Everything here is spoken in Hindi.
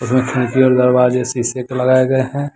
खिड़की और दरवाजे शिशे के लगाएं गए हैं।